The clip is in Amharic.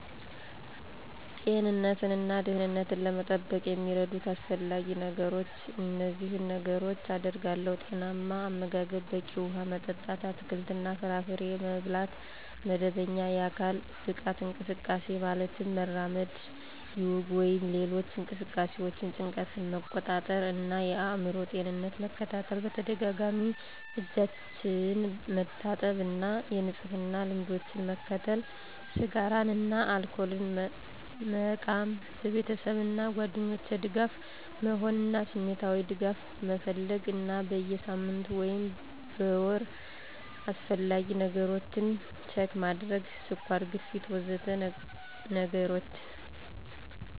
ጤንነትን እና ደህንነትን ለመጠበቅ የሚረዱት አስፈላጊ ነገሮች እነዚህን ነገሮች አደርጋለሁ። ⦁ ጤናማ አመጋገብ፣ በቂ ውሃ መጠጥ፣ አትክልትና ፍራፍሬ መብላት ⦁ መደበኛ የአካል ብቃት እንቅስቃሴ (ማለትም መራመድ፣ ዮጋ ወይም ሌሎች እንቅስቃሴዎች) ⦁ ጭንቀትን መቆጣጠር እና የአእምሮ ጤናን መከታተል ⦁ በተደጋጋሚ እጆችን መታጠብ እና የንጽህና ልምዶችን መከተል ⦁ ስጋራን እና አልኮልን መቆም ⦁ በቤተሰብ እና ጓደኞች ደጋፊ መሆን እና ስሜታዊ ድጋፍ መፈለግ እና በየ ሳምንቱ ወይም ወሩ አስፈላጊ ነገሮች ችክ ማድረግ (ስኳር፣ ግፊት... ወዘተ ነገሮችን)